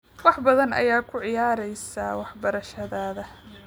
Wax badan ayaad ku ciyaareysaa waxbarashadaada